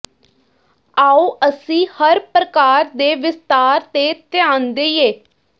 ਆਉ ਅਸੀਂ ਹਰ ਪ੍ਰਕਾਰ ਦੇ ਵਿਸਥਾਰ ਤੇ ਧਿਆਨ ਦੇਈਏ